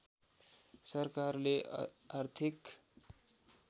सरकारले आर्थिक